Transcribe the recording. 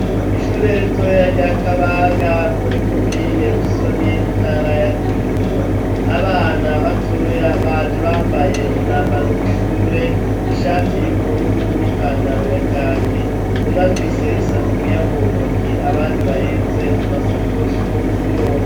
Ishure ritoya rya Kabanga, muri komine Busoni, intara ya Kirundo. Abana batoya baje bambaye umwambaro w'ishure, ishati y'ubururu n'ipantaro ya kaki, umwe afise isafuriya mu ntoke, abandi bahetse amasakoshi mu mugongo.